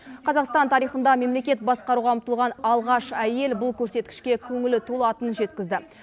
қазақстан тарихында мемлекет басқаруға ұмтылған алғаш әйел бұл көрсеткішке көңілі толатынын жеткізді